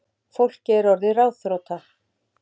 Fólkið er orðið ráðþrota